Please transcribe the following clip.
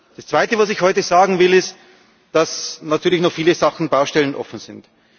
Das Zweite, was ich heute sagen will, ist, dass natürlich noch viele Baustellen offen sind.